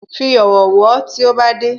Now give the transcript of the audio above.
Fi ọ̀wọ̀ wọ́ tí ó bá dé